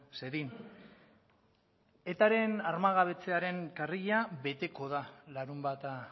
zedin etaren armagabetzearen karrila beteko da larunbata